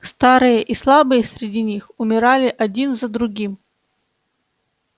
старые и слабые среди них умирали один за другим